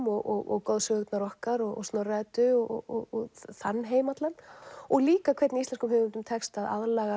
og goðsögurnar okkar Snorra Eddu og þann heim allan líka hvernig íslenskum höfundum tekst að aðlaga